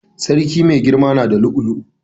Sarki mai girama na da lu'u lu'u.